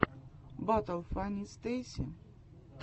батл фанни стейси